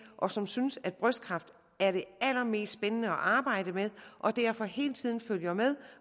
og som synes at brystkræft er det allermest spændende at arbejde med og derfor hele tiden følger med